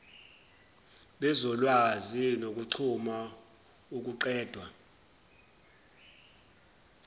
bezolwazi nokuxhumna ukuqedwa